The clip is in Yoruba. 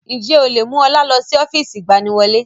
Ǹjẹ́ o lè mú ọlá lọ sí ọ́fíìsì ìgbaniwọlé?